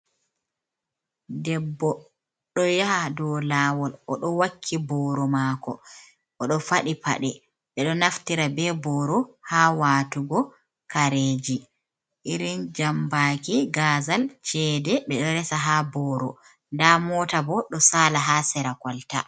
Debbo do yaha do lawol odo wakki boro mako odo fadi paɗe ɓe ɗo naftira be boro ha watugo kareji irin jambaki gazal cede ɓe ɗo resa ha boro da mota bo do sala ha sera kolta.